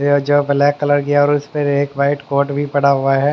ये जो black colour की है और उसे पे एक व्हाइट कोट भी पड़ा हुआ है।